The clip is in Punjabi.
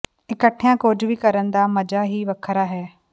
ਇਕੱਠਿਆਂ ਕੁਝ ਵੀ ਕਰਨ ਦਾ ਮਜ਼ਾ ਹੀ ਵੱਖਰਾ ਹੈ